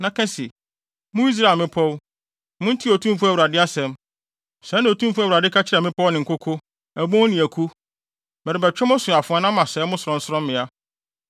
na ka se, ‘Mo Israel mmepɔw, muntie Otumfo Awurade asɛm. Sɛɛ na Otumfo Awurade ka kyerɛ mmepɔw ne nkoko, abon ne aku: Merebɛtwe mo so afoa na masɛe mo sorɔnsorɔmmea.